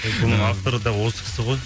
оның авторы да осы кісі ғой